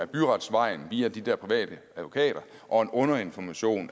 byretsvejen via de der private advokater og en underinformation